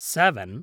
seven